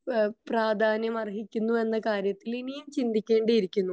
ഏഹ്ഹ് പ്രാധാന്യം അർഹിക്കുന്നു എന്ന കാര്യത്തിൽ ഇനിയും ചിന്തിക്കേണ്ടിയിരിക്കുന്നു